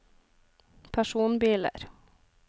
personbiler